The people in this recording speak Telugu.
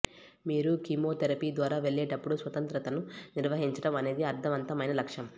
మీరు కీమోథెరపీ ద్వారా వెళ్ళేటప్పుడు స్వతంత్రతను నిర్వహించడం అనేది అర్థవంతమైన లక్ష్యం